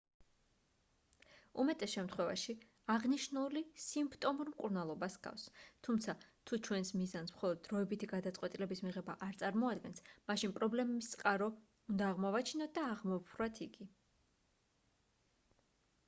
უმეტეს შემთხვევაში აღნიშნული სიმპტომურ მკურნალობას ჰგავს თუმცა თუ ჩვენს მიზანს მხოლოდ დროებითი გადაწყვეტილების მიღება არ წარმოადგენს მაშინ პრობლემების წყარო უნდა აღმოვაჩინოთ და აღმოვფხვრათ იგი